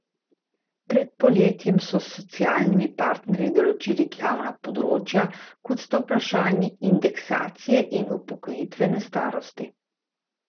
Pred poletjem so s socialnimi partnerji določili glavna področja, kot sta vprašanji indeksacije in upokojitvene starosti.